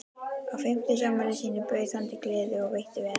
Á fimmtugsafmæli sínu bauð hann til gleði og veitti vel.